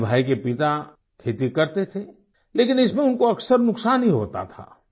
इस्माइल भाई के पिता खेती करते थे लेकिन इसमें उनको अक्सर नुकसान ही होता था